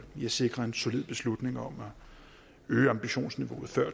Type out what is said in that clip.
i at sikre en solid beslutning om at øge ambitionsniveauet før